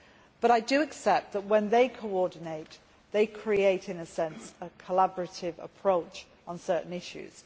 But I accept that when they coordinate, they create in a sense a collaborative approach on certain issues.